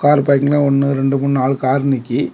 Car பார்க்கிங்லெ ஒன்னு ரெண்டு மூணு நால் கார் நிக்கி.